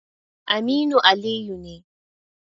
Aminu Aliyu ne.